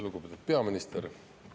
Lugupeetud peaminister!